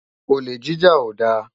Olé jijá ó dá